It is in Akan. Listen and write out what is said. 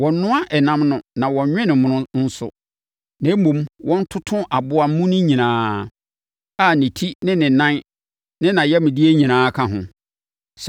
Wɔnnnoa ɛnam no na wɔnnwe no mono nso, na mmom, wɔntoto aboa mu no nyinaa, a ne ti ne nan ne nʼayamdeɛ nyinaa ka ho.